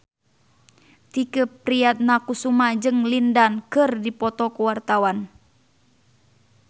Tike Priatnakusuma jeung Lin Dan keur dipoto ku wartawan